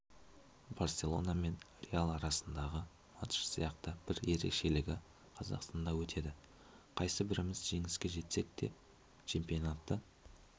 барселона мен реал арасындағы матч сияқты бір ерекшелігі қазақстанда өтеді қайсы біріміз жеңіске жетсек чемпионатты